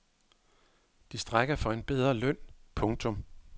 De strejker for en bedre løn. punktum